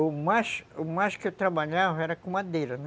O mais o mais que eu trabalhava era com madeira, né?